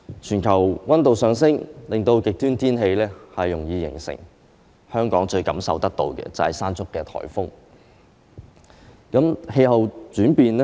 全球氣溫上升，令極端天氣容易形成，香港感受最深刻的，就是颱風"山竹"。